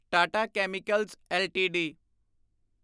Tata chemicals LTD